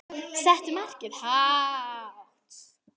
Settu markið hátt.